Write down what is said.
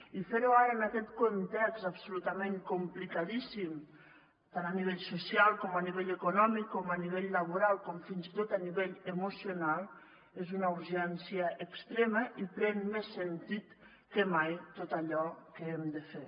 i fer ho ara en aquest context absolutament complicadíssim tant a nivell social com a nivell econòmic com a nivell laboral com fins i tot a nivell emocional és una urgència extrema i pren més sentit que mai tot allò que hem de fer